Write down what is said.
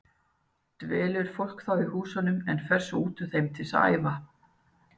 Dvelur fólk þá í húsunum en fer svo út úr þeim til að æfa.